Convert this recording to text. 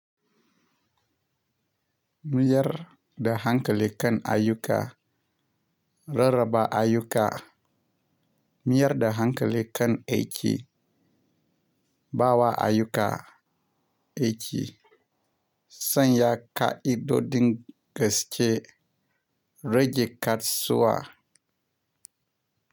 Mayar da hankali kan ayyuka, rarraba ayyuka. Miyar da hankali kan aiki, ba wa ayyuka aiki. Sanya ka'idodin gaske, rage kasuwa.